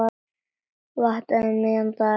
Ég vaknaði um miðjan dag.